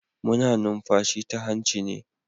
Muna numfashi ta hanci ne.